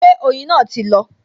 Ṣé oyin náà ti lọ?